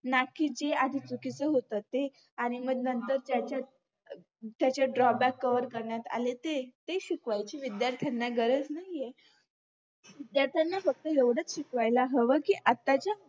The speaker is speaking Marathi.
ना की जे आधीच चुकीचं होत ते आणि मग नंतर त्याच्यात त्याच्यात drawback cover करण्यात आले ते ते शिकवायची विध्यार्थांना गरज नाहीय ज्याचं ना फक्त एवढंच शिकवायला हवं की आताच्या